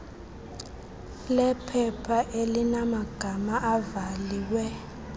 lephepha elinamagama ivaliwe